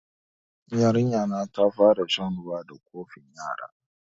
Yarinya ta fara shan ruwa da kofin yara